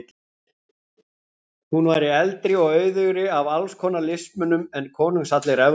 Hún væri eldri og auðugri af alls konar listmunum en konungshallir Evrópu.